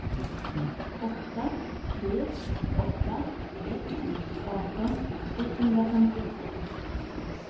åtta tre åtta ett arton etthundrafemtiotvå